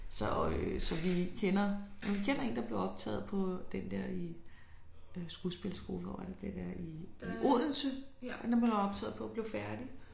Så øh så vi kender ja vi kender en der blev optaget på den der i øh skuespilskole hvor er det den er i Odense den blev han optaget på og blev færdig